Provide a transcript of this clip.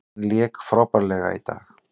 Hann lék frábærlega í dag.